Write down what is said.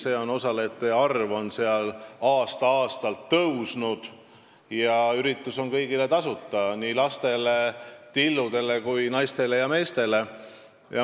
Selle osalejate arv on aasta-aastalt tõusnud ja üritus on kõigile tasuta, nii lastele, tilludele kui ka naistele ja meestele.